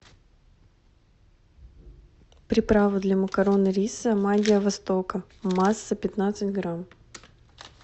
приправа для макарон и риса магия востока масса пятнадцать грамм